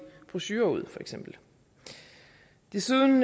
brochurer ud desuden